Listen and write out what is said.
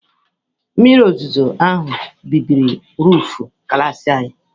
Mmiri ozuzo ahụ bibiri roofu klas anyị.